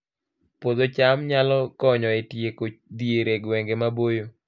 Puodho cham nyalo konyo e tieko dhier e gwenge maboyo